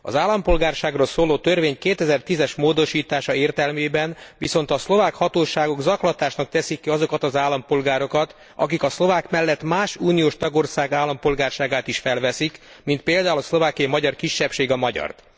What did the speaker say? Az állampolgárságról szóló törvény 2010 es módosítása értelmében viszont a szlovák hatóságok zaklatásnak teszik ki azokat az állampolgárokat, akik a szlovák mellett más uniós tagország állampolgárságát is felveszik, mint például a szlovákiai magyar kisebbség a magyart.